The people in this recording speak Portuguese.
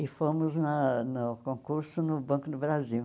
E fomos na no concurso no Banco do Brasil.